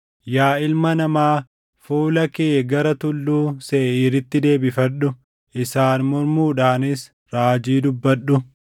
“Yaa ilma namaa, fuula kee gara Tulluu Seeʼiiritti deebifadhu; isaan mormuudhaanis raajii dubbadhu;